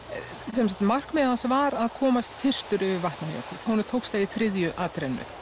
sem sagt markmið hans var að komast fyrstur yfir Vatnajökul honum tókst það í þriðju atrennu